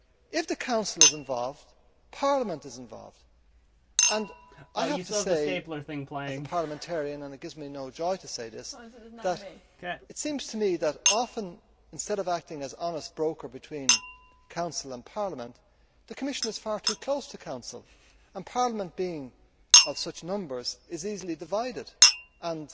If the Council is involved, Parliament is involved. As a parliamentarian and it gives me no joy to say this it seems to me that often, instead of acting as honest broker between Council and Parliament, the Commission is far too close to the Council, while Parliament, being of such numbers, is easily divided and